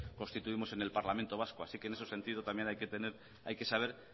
constituimos en el parlamento vasco así que en ese sentido también hay que saber